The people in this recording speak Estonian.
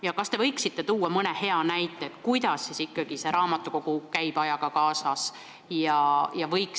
Ja kas te võiksite tuua mõne hea näite, kuidas raamatukogu ajaga kaasas käib?